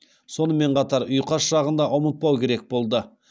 сонымен қатар ұйқас жағын да ұмытпау керек болды